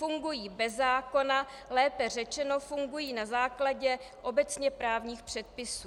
Fungují bez zákona, lépe řečeno fungují na základě obecně právních předpisů.